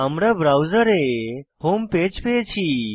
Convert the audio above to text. আমরা ব্রাউজারে home page পেয়েছি